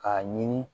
K'a ɲini